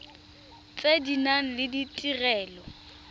tse di nang le ditirelo